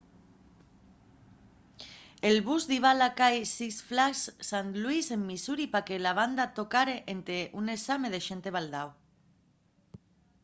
el bus diba a la cai six flags st louis en missouri pa que la banda tocare énte un ensame de xente baldao